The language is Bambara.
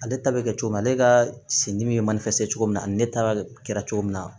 Ale ta bɛ kɛ cogo min ale ka sendimi bɛ manasɛfɛ cogo min na ani ne ta kɛra cogo min na